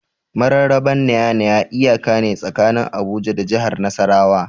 Mararraba Nya-Nya iyaka ne tsakanin Abuja da jahar Nasarawa.